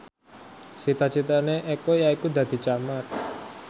cita citane Eko yaiku dadi camat